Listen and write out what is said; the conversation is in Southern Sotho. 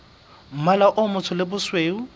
mmala o motsho le bosweu